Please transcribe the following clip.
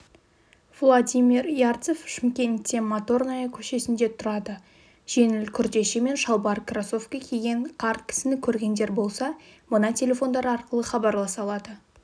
владимир ярцев шымкентте моторная көшесінде тұрады жеңіл күртеше мен шалбар кроссовкі киген қарт кісіні көргендер болса мына телефондар арқылы хабарласа алады